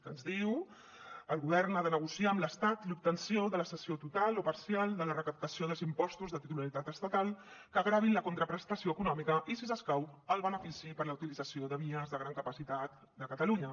que ens diu el govern ha de negociar amb l’estat l’obtenció de la cessió total o parcial de la recaptació dels impostos de titularitat estatal que gravin la contraprestació econòmica i si s’escau el benefici per la utilització de vies de gran capacitat de catalunya